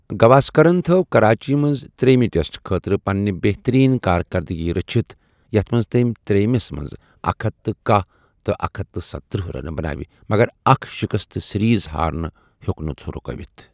گواسکرن تھٲو کراچی منٛز ترٛیمِہِ ٹیسٹہٕ خٲطرٕ پنٕنہِ بہتریٖن کار کردگی رچھِتھ ، یَتھ منٛز تٔمۍ تریمِس منز اکھ ہتھَ کٔہہ تہٕ اکھ ہتھَ ستتٔرہ رنہٕ بناوِ ، مگراكھ شِكست تہٕ سیریز ہارٕنہِ ہِیوك نہٕ رُكٲوِتھ ۔